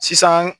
Sisan